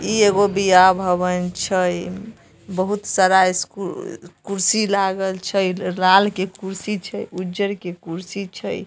इ एगो ब्याह भवन छै बहुत सारा स्कू कुर्सी लागल छै लाल के कुर्सी छै उजर के कुर्सी छै।